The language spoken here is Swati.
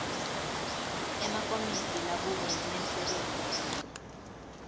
emakomiti labukene nemsebentitsite